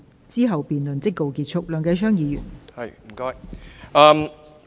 之後辯論即告結束。